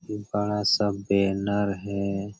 एक बड़ा सा बैनर हैं।